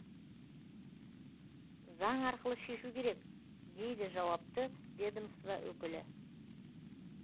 заң арқылы шешу керек дейді жауапты ведомство өкілі